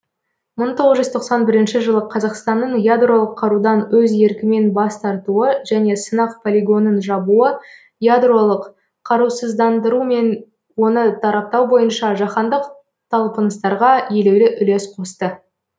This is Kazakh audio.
мың тоғыз жүз тоқсан бірінші жылы қазақстанның ядролық қарудан өз еркімен бас тартуы және сынақ полигонын жабуы ядролық қарусыздандыру мен оны тараптау бойынша жаһандық талпыныстарға елеулі үлес қосты